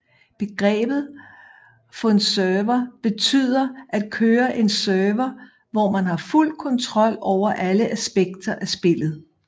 Begrebet funserver betyder at køre en server hvor man har fuld kontrol over alle aspekter af spillet